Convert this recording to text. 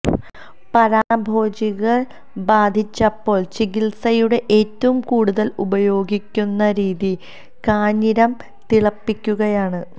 പരാന്നഭോജികൾ ബാധിച്ചപ്പോൾ ചികിത്സയുടെ ഏറ്റവും കൂടുതൽ ഉപയോഗിക്കുന്ന രീതി കാഞ്ഞിരം തിളപ്പിക്കുകയാണ്